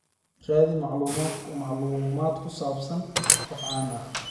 raadi macluumaad ku saabsan qof caan ah